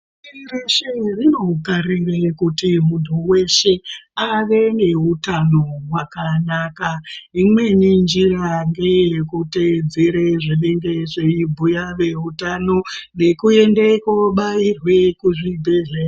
Pashi reshe rinokarira kuti muntu weshe ave neutano hwakanaka imweni njira ngeyekuteedzere zvinenge zveibhuya veutano nekuende kubairwe kuzvibhehleya.